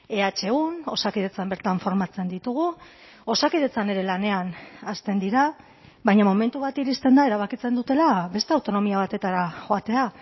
ehun osakidetzan bertan formatzen ditugu osakidetzan ere lanean hasten dira baina momentu bat iristen da erabakitzen dutela beste autonomia batetara joatea